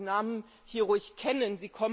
Man sollte die Namen hier ruhig kennen.